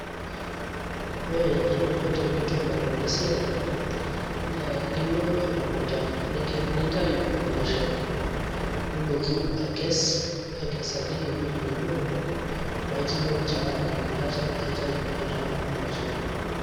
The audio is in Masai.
Ore eninko tenintobir enasiai, na ilo emukunda, nintayu impoosho, nilotu akes, akesaki ewueji nebo, paitumoki taa inakata aitayu etaa impoosho ake.